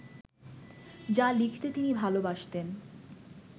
যা লিখতে তিনি ভালবাসতেন